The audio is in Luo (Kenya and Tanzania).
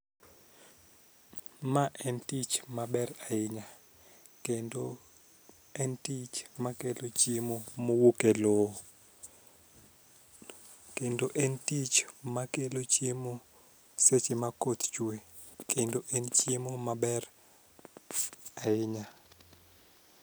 Ma en tich maber ahinya kendo en tich makelo chiemo mowuok e lowo kendo en tich makelo chiemo seche ma koth chue kendo en chiemo maber ahinya.